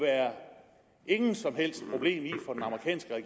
ikke som helst problem i